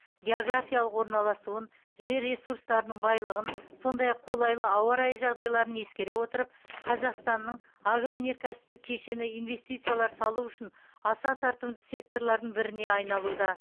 географиялық орналасуын жер ресурстарының байлығын сондай ақ қолайлы ауа райы жағдайларын ескере отырып қазақстанның агроөнеркәсіптік кешені инвестициялар салу үшін аса тартымды секторлардың біріне айналуда